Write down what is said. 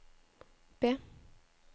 B